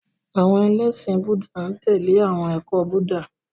Àwọn ẹlẹ́ṣin Búúdà n tẹle awọn ẹkọ Buddha.